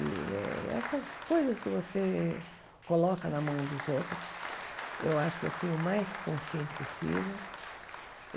E eh essas coisas que você coloca na mão dos outros, eu acho que eu fui o mais consciente possível.